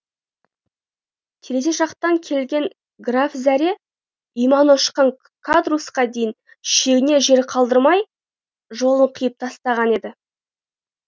терезе жақтан келген граф зәре иманы ұшқан кадруссқа кейін шегінер жер қалдырмай жолын қиып тастаған еді